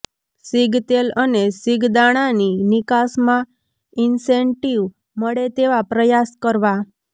સીગતેલ અને સીગદાણાની નિકાસમાં ઈન્સેન્ટીવ મળે તેવા પ્રયાસ કરવા